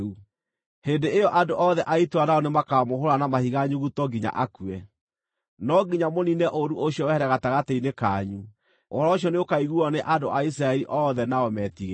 Hĩndĩ ĩyo andũ othe a itũũra nao nĩmakamũhũũra na mahiga nyuguto nginya akue. No nginya mũniine ũũru ũcio wehere gatagatĩ-inĩ kanyu. Ũhoro ũcio nĩũkaiguuo nĩ andũ a Isiraeli othe nao meetigĩre.